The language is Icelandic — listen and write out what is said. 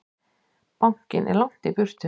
Bankinn er langt í burtu.